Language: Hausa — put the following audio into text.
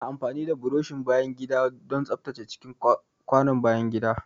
Ana amfani da burushin bayan gida don tsaftace cikin kwanon bayan gida.